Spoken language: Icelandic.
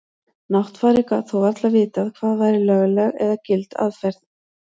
Náttfari gat þó varla vitað hvað væri lögleg eða gild aðferð.